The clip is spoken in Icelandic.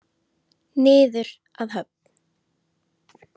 Niður að höfn.